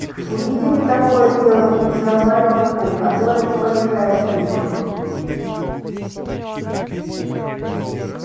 увидели такое дело и взорвали туннель который к полежаевской вёл